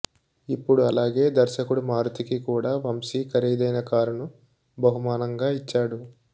ఇప్పుడు అలాగే దర్శకుడు మారుతీకి కూడా వంశీ ఖరీదైన కారుని బహుమానంగా ఇచ్చాడు